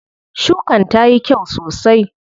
Shukan tayi kyau sosai.